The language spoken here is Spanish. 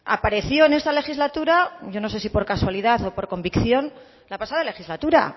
apareció en esta legislatura yo no sé si por casualidad o por convicción la pasada legislatura